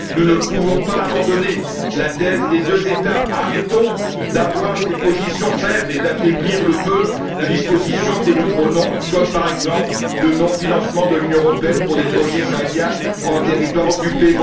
Nous ne pouvons pas abandonner la thèse des deux États. Arrêtons d'avoir des positions faibles et d'affaiblir le peu de dispositions que nous prenons comme par exemple le non financement de l'Union européenne pour des projets israéliens situés dans les Territoires occupés.